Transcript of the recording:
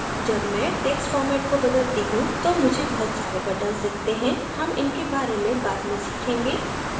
जब मैं text format को बदलती हूँ तो मुझे बहुत सारे buttons दिखते हैं हम इनके बारे में बाद में सीखेंगे